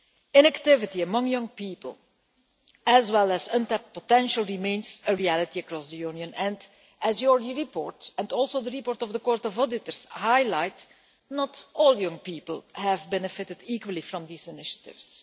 Inactivity among young people, as well as untapped potential, remains a reality across the Union and, as your report and also the report of the Court of Auditors highlight, not all young people have benefited equally from these initiatives.